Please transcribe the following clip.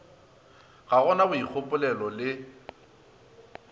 ga go na boikgopolelo le